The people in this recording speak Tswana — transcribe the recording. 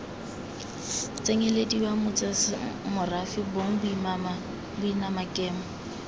tsenyelediwa bosemorafe bong boimana kemo